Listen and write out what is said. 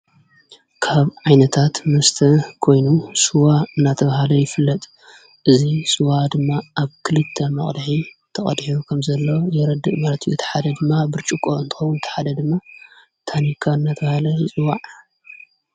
ካብ ዓይነታት ምስተ ኮይኑ ስዋ እናተብሃለ ይፍለጥ እዙይ ሥዋ ድማ ኣብ ክሊተ መቕልሒ ተቐድሒቡ ከም ዘለዉ የረድእ መለት የተሓደ ድማ ብርጭቆ እንተን ተሓደ ድማ ታኒካ እናተብሃለ ይፅዋዕ።